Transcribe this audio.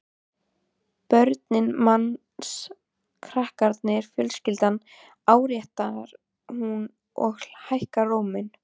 Börnin manns, krakkarnir, fjölskyldan, áréttar hún og hækkar róminn.